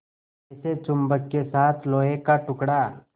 जैसे चुम्बक के साथ लोहे का टुकड़ा